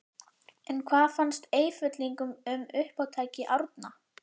En hvað finnst Eyfellingum um uppátæki Árna?